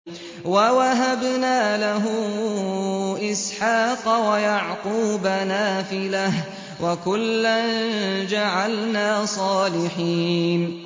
وَوَهَبْنَا لَهُ إِسْحَاقَ وَيَعْقُوبَ نَافِلَةً ۖ وَكُلًّا جَعَلْنَا صَالِحِينَ